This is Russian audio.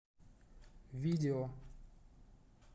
видео